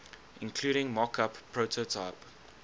including mockup prototype